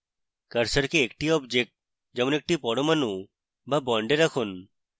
কার্সারকে একটি object যেমন একটি পরমাণু বা bond রাখুন